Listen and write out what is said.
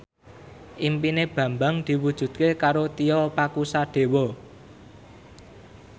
impine Bambang diwujudke karo Tio Pakusadewo